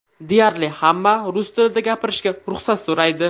Deyarli hamma rus tilida gapirishga ruxsat so‘raydi.